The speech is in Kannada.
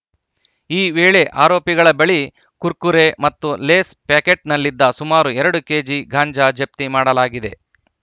ಈ ವೇಳೆ ಆರೋಪಿಗಳ ಬಳಿ ಕುರ್ಕುರೆ ಮತ್ತು ಲೇಸ್‌ ಪ್ಯಾಕೆಟ್‌ನಲ್ಲಿದ್ದ ಸುಮಾರು ಎರಡು ಕೆಜಿಗಾಂಜಾ ಜಪ್ತಿ ಮಾಡಲಾಗಿದೆ